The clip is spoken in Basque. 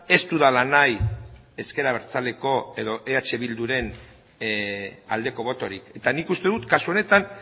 ez dudala nahi ezker abertzaleko edo eh bilduren aldeko botorik eta nik uste dut kasu honetan